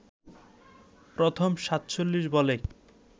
প্রথম ৪৭ বলে